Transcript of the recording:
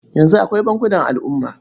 Yanzu akwai bankunan al'umma.